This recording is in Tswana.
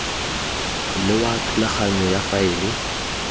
le wa thulaganyo ya faele